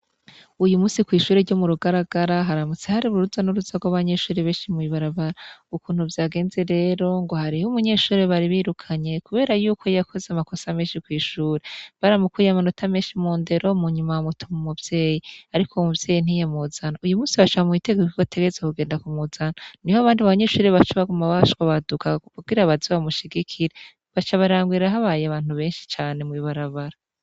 Uyu musi kw'ishure ryo mu Rugaragara haramutse hari uruza n'uruza rw'abanyeshure benshi mw'ibarabara, ukuntu vyagenze rero ngo hariho umunyeshure bari birukanye kubera yuko yakoze amakosa menshi kw'ishure, baramukuye amanota menshi mu ndero munyuma bamutuma umuvyeyi ariko uyo muvyeyi ntiyamuzana, uyu musi baca bamuha itegeko ko ategerezwa kugenda kumuzana niho abandi banyeshure baciye bashwabaduka kugira baze bamushigikire baca barangira habaye abantu benshi mw'ibarabara.